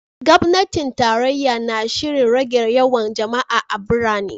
Gwamnatin tarayya na shirin rage yawan jama’a a birane.